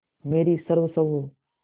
मेरी सर्वस्व हो